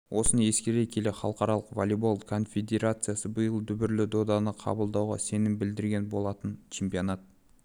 осыны ескере келе халықаралық волейбол конфедерациясы биыл да дүбірлі доданы қабылдауға сенім білдірген болатын чемпионат